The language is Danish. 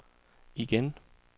igen